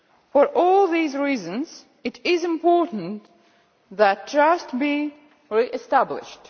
For all these reasons, it is important that trust be re-established.